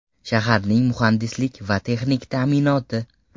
Shaharning muhandislik va texnik ta’minoti.